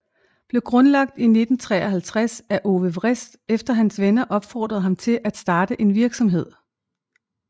Blev grundlagt I 1953 af Ove Wrist efter hans venner opfordrede ham til at starte en virksomhed